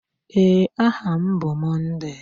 Ee, aha m bụ Monday.